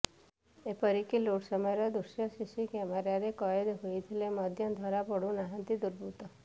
ଏପରିକି ଲୁଟ ସମୟର ଦୃଶ୍ୟ ସିସି କ୍ୟାମେରାରେ କଏଦ ହୋଇଥିଲେ ମଧ୍ୟ ଧରା ପଡ଼ୁନାହାନ୍ତି ଦୁର୍ବୃତ୍ତ